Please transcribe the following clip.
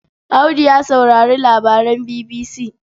Audu ya saurari labaran BBC.